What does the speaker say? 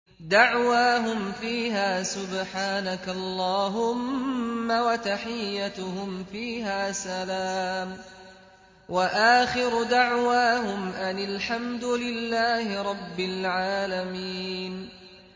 دَعْوَاهُمْ فِيهَا سُبْحَانَكَ اللَّهُمَّ وَتَحِيَّتُهُمْ فِيهَا سَلَامٌ ۚ وَآخِرُ دَعْوَاهُمْ أَنِ الْحَمْدُ لِلَّهِ رَبِّ الْعَالَمِينَ